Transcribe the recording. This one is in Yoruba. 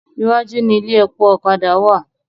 Iwájú ni ilé epo ọ̀kadà wà.